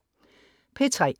P3: